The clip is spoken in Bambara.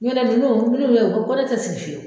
Don dɔla, u yɛrɛ y'o fo ko ne tɛ sigi fiyewu!